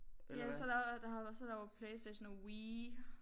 Ja så der der har også så der jo PlayStation og Wii